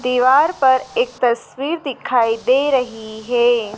दीवार पर एक तस्वीर दिखाई दे रही है।